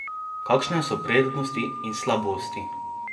Kakšne so prednosti in slabosti?